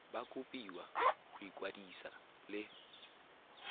ba kopiwa go ikwadisa le